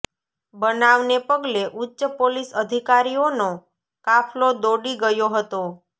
બનાવને પગલે ઉચ્ચ પોલીસ અધિકારીઓનો કાફલો દોડી ગયો હતો